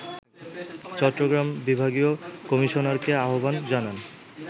চট্টগ্রামের বিভাগীয় কমিশনারকে আহ্বান জানান